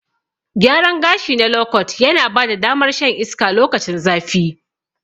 Gyaran gashi na lokot yana bada damar shan iska lokacin zafi.